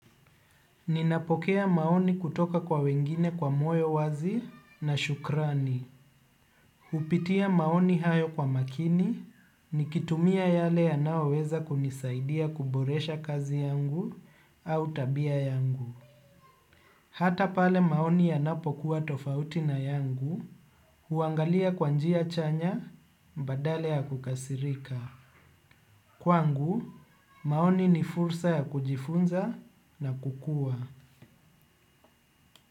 Ninapokea maoni kutoka kwa wengine kwa moyo wazi na shukrani. Hupitia maoni hayo kwa makini nikitumia yale yanayoweza kunisaidia kuboresha kazi yangu au tabia yangu. Hata pale maoni yanapokuwa tofauti na yangu, huangalia kwa njia chanya badala ya kukasirika. Kwangu, maoni ni fursa ya kujifunza na kukua.